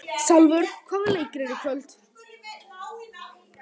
Salvör, hvaða leikir eru í kvöld?